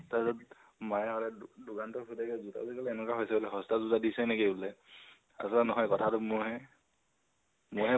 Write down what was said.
তাৰপিছত মায়ে সদায় দো দোকানটোত সোধেগে জোতাযোৰ কেলৈ এনেকোৱা হৈছে? সস্তা জোতা দিছা নেকি বুলে। তাৰপিছত নহয় কথাটো মইহে মইহে